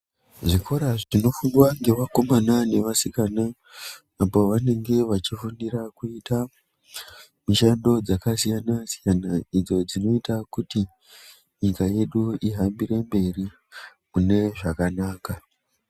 Zvikora zvinofundwa nge vakomana ne vasikana apo vanenge vachi fundira kuita mishando dzaka siyana siyana idzo dzinoita kuti nyika yedu ihambire mberi mune zvakanaka.